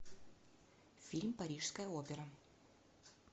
фильм парижская опера